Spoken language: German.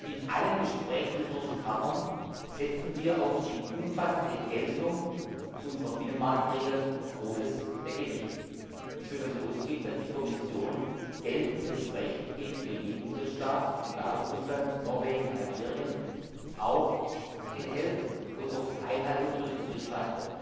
In allen Gesprächen mit den russischen Partnern legen wir auf die umfassende Geltung unserer Binnenmarktregeln großes Gewicht. Sie können davon ausgehen, dass die Kommission geltendes Recht gegenüber jedem Drittstaat egal ob Russland, Norwegen, Algerien auch einhält und auf die Einhaltung durch den Drittstaat pocht.